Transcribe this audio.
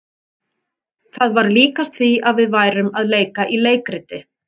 Það var líkast því að við værum að leika í leikriti.